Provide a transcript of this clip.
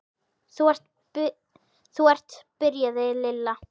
Þú ert. byrjaði Lilla.